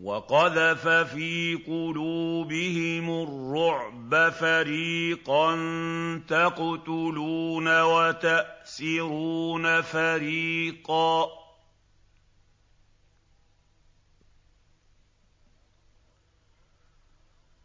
وَقَذَفَ فِي قُلُوبِهِمُ الرُّعْبَ فَرِيقًا تَقْتُلُونَ وَتَأْسِرُونَ فَرِيقًا